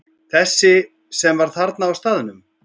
Þessi sem var þarna á staðnum?